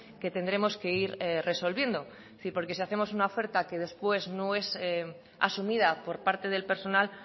que tendremos que ir resolviendo porque si hacemos una oferta que después no es asumida por parte del personal